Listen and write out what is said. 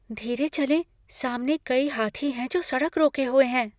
धीरे चलें। सामने कई हाथी हैं जो सड़क रोके हुए हैं।